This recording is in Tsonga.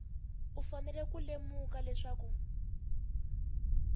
u fanele ku lemuka leswaku